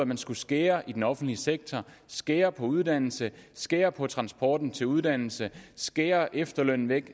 man skulle skære i den offentlige sektor skære på uddannelse skære på transporten til uddannelse skære efterlønnen væk